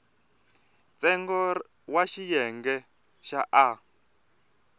ntsengo wa xiyenge xa a